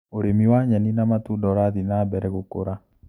ũrĩmi wa nyeni na matunda ũrathi na mbere gũkũra.